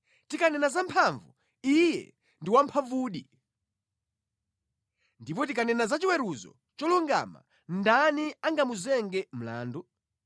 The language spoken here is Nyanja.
Tikanena za mphamvu, Iye ndi wamphamvudi! Ndipo tikanena za chiweruzo cholungama, ndani angamuzenge mlandu?